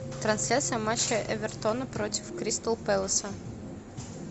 трансляция матча эвертона против кристал пэласа